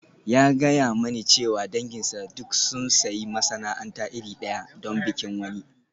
Ya gaya mani cewa danginsa duk sun sayi masana'anta iri ɗaya don bikin wani.